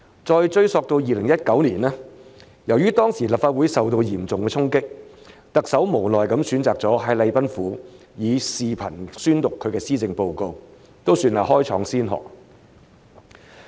再追溯到2019年，由於當時立法會受到嚴重的衝擊，特首無奈地選擇了在禮賓府以視頻方式宣讀施政報告，算是開創先河了。